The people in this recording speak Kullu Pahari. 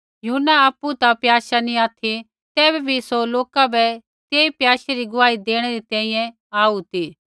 यूहन्ना आपु ता प्याशा नी ऑथि तैबै भी सौ लोका बै तेई प्याशै री गुआही देणै री तैंईंयैं आऊ ती